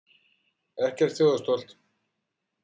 Ekkert þjóðarstolt?